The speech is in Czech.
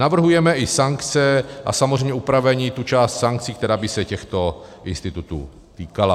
Navrhujeme i sankce a samozřejmě upravení, tu část sankcí, která by se těchto institutů týkala.